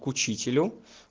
к учителю